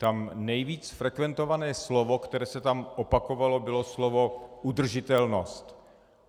Tam nejvíc frekventované slovo, které se tam opakovalo, bylo slovo udržitelnost.